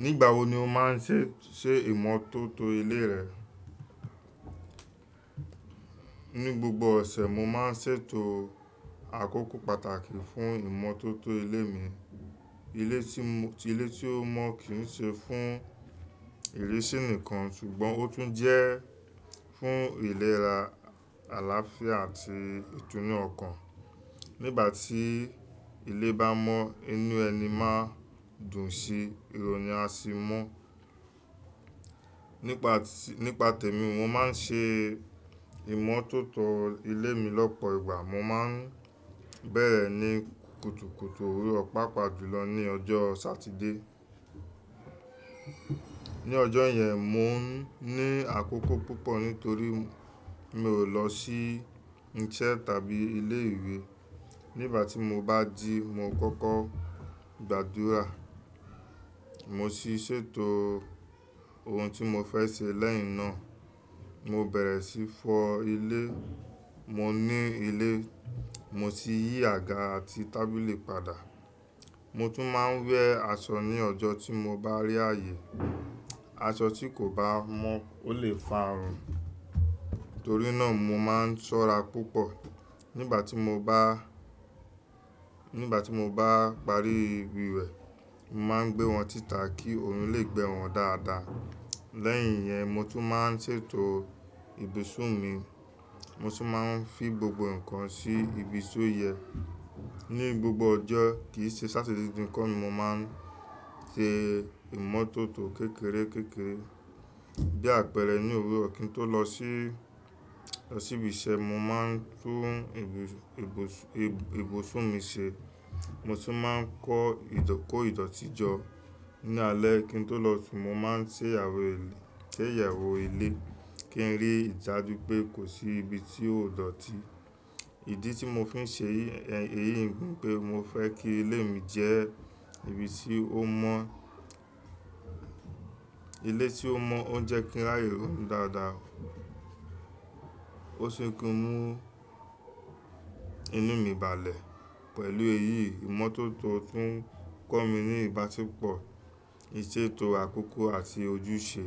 Nígbà wo ni o máa ń ṣe, ṣe ìmọ́tótó ilé rẹ? Ní gbogbo ọ̀sẹ̀, mo máa ń ṣètò àkókò pàtàkì fún ìmọ́tótó ilé mi. Ilé tí mo, ilé tí ó mọ́ kì í ṣe fún ìrísí nìkan, ṣùgbọ́n ó tún jẹ́ fún ìlera, àlàáfíà àti ìtúnu ọkàn. Nígbà tí ilé bá mọ́, inú ẹni máa dùn sí i, ironu a sì mu. Nípa tì, nípa tèmi mo máa ń ṣe ìmọ́tótó ilé mi lọ́pọ̀ ìgbà. Mo máa ń bẹ̀rẹ̀ ní kùtùkùtù òwúrọ̀, pàápàá jùlọ ní ọjọ́ Sátidé. Ní ọjọ́ yẹn, mo ní àkókò púpọ̀ nítorí mi ò lọ sí iṣẹ́ tàbí ilé ìwé. Nígbà tí mo bá ji, mo kọ́kọ́ gbàdúrà, mo sì ṣètò ohun tí mo fẹ́ ṣe lẹ́yìn náà. Mo bẹ̀rẹ̀ sí í fọ ilé, mo ni ilé, mo sì yí àga àti tábìlì padà. Mo tún máa ń wẹ́ aṣọ ní ọjọ́ tí mo bá rí ààyè. Aṣọ tí kò bá mọ́ ó lè fa àrùn. Nítorí náà mo máa ń ṣọ́ra púpọ̀. Nígbà tí mo bá, nígbà tí mo bá parí ìwé, mo máa ń gbé wọn sítà kí orún lè gbẹ wọn dáadáa. Lẹ́yìn iyẹn, mo tún máa ń ṣètò ibùsùn mi. Mo sì máa ń fi gbogbo nǹkan sí ibi tó yẹ. Ní gbogbo ọjọ́ kì í ṣe Sátidé nikan ni mo máa ń ṣe ìmọ́tótó kékeré kékeré. Bí àpẹẹrẹ ní òwúrọ̀ kí n tó lọ sí sí ibi iṣẹ́, mo máa ń tún ibu-ibùs-ibu- ibùsùn mi ṣe. Mo sì máa ń kó ìdọ̀tí jọ. Ní alẹ́ kí n tó lọ sùn, mo máa ń ṣè ayewó ilé, ṣè ayewó ilé kí n rí idaju pé kò sí ibi tí ó dọ̀tí. Ìdí tí mo fi ń ṣe eyí, eyí ńi pé mo fẹ́ kí ilé mi jẹ́ ibi tí ó mọ́. Ilé tí ó mọ́ on jẹ kíń ráyé ronu dáadáa. Ó sì ń mú inú mi balẹ̀. Pẹ̀lú èyí, ìmọ́tótó tún kọ́ mi ní ìbáṣepọ̀, ìṣètò àkókò àti ojúṣe.